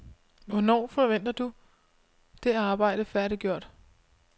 Hvornår forventer du det arbejde færdiggjort?